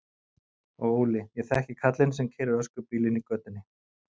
Og Óli, ég þekki kallinn sem keyrir öskubílinn í götunni.